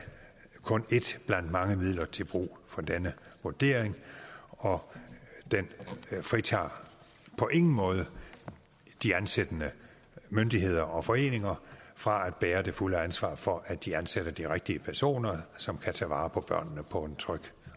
kun ét blandt mange midler til brug for denne vurdering og den fritager på ingen måde de ansættende myndigheder og foreninger fra at bære det fulde ansvar for at de ansætter de rigtige personer som kan tage vare på børnene på en tryg